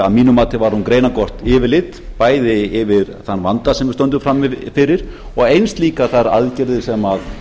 að mínu mati var hún greinargott yfirlit bæði yfir þann vanda sem við stöndum frammi fyrir og eins líka þær aðgerðir sem